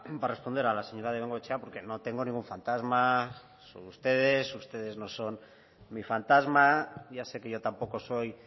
para responder a la señora de bengoechea porque no tengo ningún fantasma sobre ustedes ustedes no son mi fantasma ya sé que yo tampoco soy